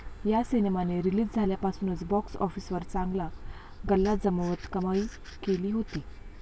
या सिनेमाने रिलीज झाल्यापासूनच बॉक्स ऑफिसवर चांगला गल्ला जमवत कमाई केली होती.